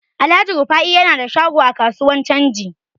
Alhaji Rufa'i yana da shago a kasuwar canji.